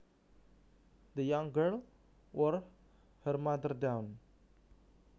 The young girl wore her mother down